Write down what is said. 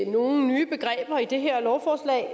nogen nye begreber i det her lovforslag